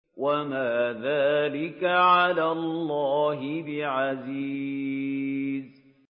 وَمَا ذَٰلِكَ عَلَى اللَّهِ بِعَزِيزٍ